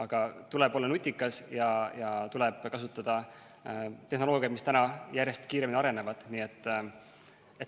Nii et tuleb olla nutikas ja tuleb kasutada tehnoloogiat, mis tänapäeval järjest kiiremini areneb.